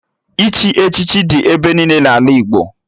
Ịchị echichi dị ebe niile n'ala Igbo